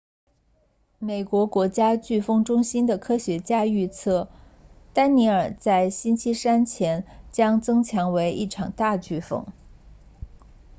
美国国家飓风中心的科学家预测丹妮尔在星期三前将增强为一场大飓风